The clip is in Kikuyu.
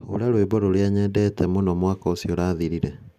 hũra rwĩmbo rũrĩa nyendete mũno mwaka ũcio ũrathirire.